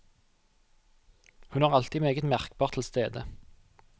Hun er alltid meget merkbart til stede.